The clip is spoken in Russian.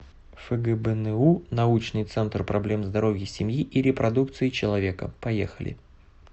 фгбну научный центр проблем здоровья семьи и репродукции человека поехали